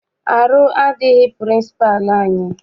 Arụ adịghị pịrịnsịpalụ anyị.